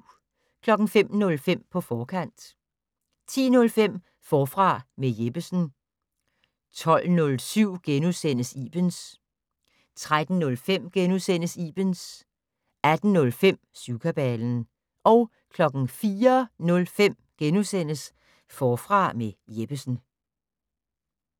05:05: På forkant 10:05: Forfra med Jeppesen 12:07: Ibens * 13:05: Ibens * 18:05: Syvkabalen 04:05: Forfra med Jeppesen *